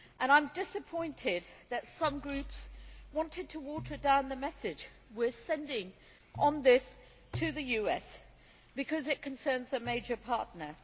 I am disappointed that some groups wanted to water down the message we are sending on this to the US because it concerns a major partner.